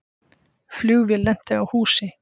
Flugvél lenti á húsi